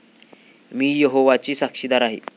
मी यहोवाची साक्षीदार आहे.